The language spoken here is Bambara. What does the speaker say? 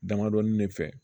Damadɔnin de fɛ